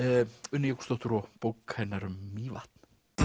Unni Jökulsdóttur og bók hennar um Mývatn